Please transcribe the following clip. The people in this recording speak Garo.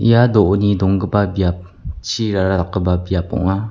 ia do·oni donggipa biap chirara dakgipa biap ong·a.